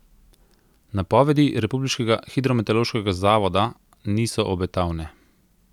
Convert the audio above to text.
Napovedi republiškega hidrometeorološkega zavoda niso obetavne.